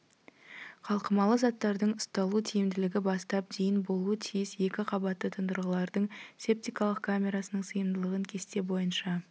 қалқымалы заттардың ұсталу тиімділігі бастап дейін болуы тиіс екі қабатты тұндырғылардың септикалық камерасының сыйымдылығын кесте бойынша